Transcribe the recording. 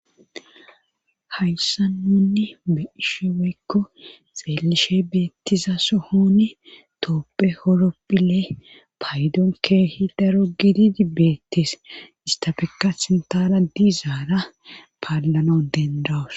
hayssa nunni be'ishe woykko xeelishe beettiza sohoni tooppe horoppile paydon keehi daro gididi beettes istafekka sintara diizaara paallano dendawos